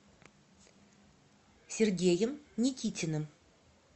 сергеем никитиным